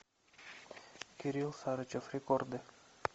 кирилл сарычев рекорды